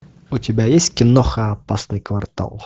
у тебя есть киноха опасный квартал